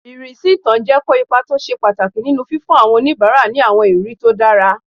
Ìrísí ilé-ìtánjẹ kó ipa tó ṣe pàtàkì nínu fífún àwọn oníbàárà ní àwọn ìrírí tó dára